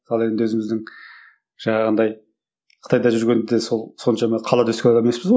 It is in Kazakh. ал енді өзіміздің жаңағындай қытайда жүргенде сол соншама қалада өскен адам емеспіз ғой